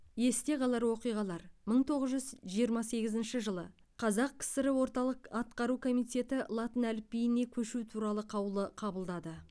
есте қалар оқиғалар мың тоғыз жүз жиырма сегізінші жылы қазақ кср орталық атқару комитеті латын әліпбиіне көшу туралы қаулы қабылдады